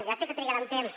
ja sé que trigaran temps